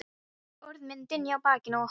Orð mín dynja á bakinu á honum.